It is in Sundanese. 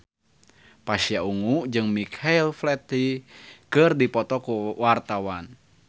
Pasha Ungu jeung Michael Flatley keur dipoto ku wartawan